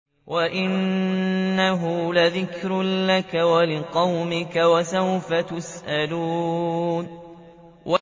وَإِنَّهُ لَذِكْرٌ لَّكَ وَلِقَوْمِكَ ۖ وَسَوْفَ تُسْأَلُونَ